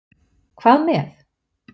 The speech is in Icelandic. Hvað með?